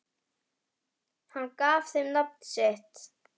Hann gaf þeim nafn sitt.